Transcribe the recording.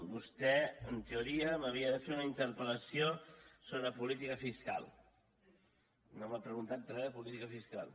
vostè en teoria m’havia de fer una interpel·lació sobre política fiscal no m’ha preguntat re de política fiscal